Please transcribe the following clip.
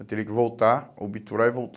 Eu teria que voltar, obturar e voltar.